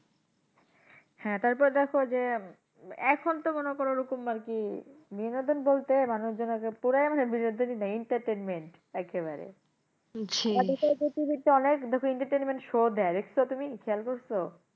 হ্যাঁ, তারপর দেখো যে এখন তো মনে করো ওরকম আরকি বিনোদন বলতে মানুষজন আজকে পুরো মানে বিনোদনই নেই entertainment একেবারে অনেক দেখো entertainment show দেয় দেখসো তুমি খেয়াল করসো?